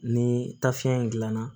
Ni tafe in gilan na